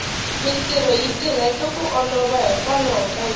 mintirho yi tirheka ku olova hikwalaho ka yona